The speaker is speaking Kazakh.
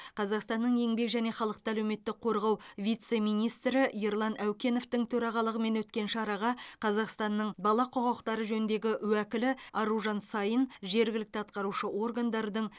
қазақстанның еңбек және халықты әлеуметтік қорғау вице министрі ерлан әукеновтің төрағалығымен өткен шараға қазақстанның бала құқықтары жөніндегі уәкілі аружан саин жергілікті атқарушы органдардың